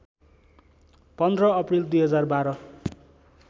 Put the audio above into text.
१५ अप्रिल २०१२